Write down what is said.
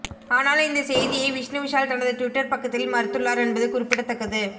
ஆனால் இந்த செய்தியை விஷ்ணுவிஷால் தனது டுவிட்டர் பக்கத்தில் மறுத்துள்ளார் என்பது குறிப்பிடத்தக்கது